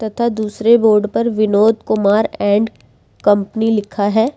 तथा दूसरे बोर्ड पर विनोद कुमार एंड कंपनी लिखा है।